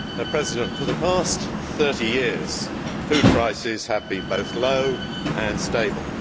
Madam President, for the past 30 years food prices have been both low and stable.